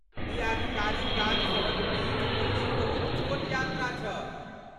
ई आधिकारिक काजसभक बीच दिल्लीक बहुत छोट यात्रा छल।